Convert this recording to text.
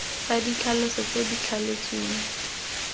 tsa ditlhaloso tse di thaletsweng